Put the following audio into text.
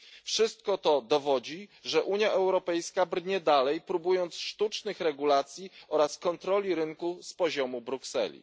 Wszystko to dowodzi, że Unia Europejska brnie dalej, próbując sztucznych regulacji oraz kontroli rynku z poziomu Brukseli.